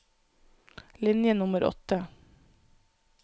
Linje nummer åtte